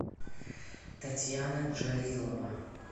татьяна джалилова